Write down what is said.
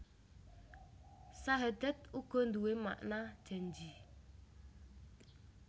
Sahadat uga nduwé makna janji